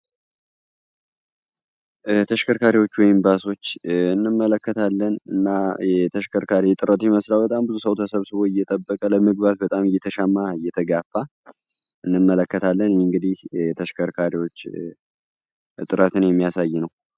ተሽከርካሪዎች ወይም ባሶችን እንመለከታለን እና የተሽከርካሪ እጥረት ይመስላል በጣም ብዙ ሰዉ ተሰብስቦ እየጠበቀ በጣም እየተጋፋ እየተሻማ እንመለከታለን ይህ እንግዲህ የተሽከርካሪዎች እጥረትን የሚያሳይ ነው።